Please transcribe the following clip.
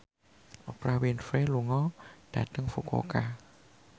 Oprah Winfrey lunga dhateng Fukuoka